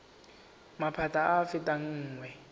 maphata a a fetang nngwe